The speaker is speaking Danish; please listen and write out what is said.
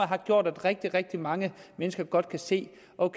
har gjort at rigtig rigtig mange mennesker godt kan se